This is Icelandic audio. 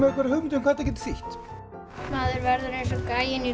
einhverja hugmynd um hvað þetta geti þýtt maður verður eins og gæinn í